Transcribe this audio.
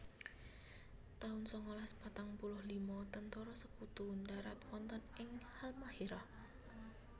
taun sangalas patang puluh lima Tentara Sekutu ndharat wonten ing Halmahéra